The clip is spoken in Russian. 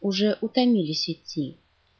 уже утомили сети